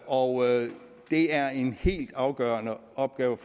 og det er en helt afgørende opgave